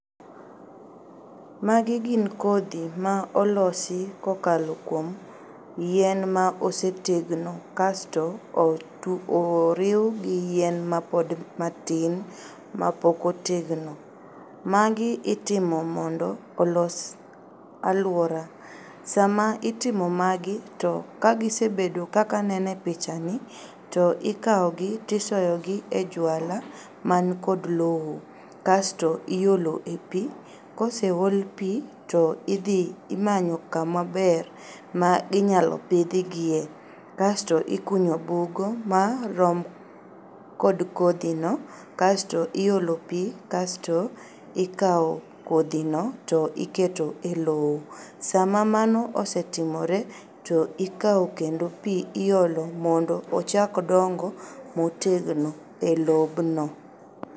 Magi gin kodhi maolosi kokalo kuom yien maosetegno kasto oriu gi yien mapod matin mapokotegno. Magi itimo mondo olos aluora. Sama itimo magi to kagisebedo kaka aneno e pichani to ikaogi to isoyogi e jwala man kod lowo, kasto iolo e pii, koseol pii to idhi imanyo kama ber ma inyalo pidhgie. Kasto ikunyo bugo marom kod kodhino kasto iolo pii kasto ikao kodhino to iketo e lowo. Sama mano osetimore to ikao kendo pii iolo mondo ochak dongo motegno e lobno.